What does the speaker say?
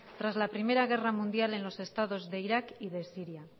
tras la primera guerra mundial en los estados de irak y de siria